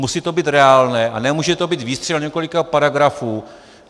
Musí to být reálné a nemůže to být výstřel několika paragrafů.